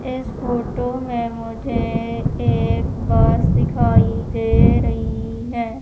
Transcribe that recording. इस फोटो में मुझे एक बस दिखाई दे रही है।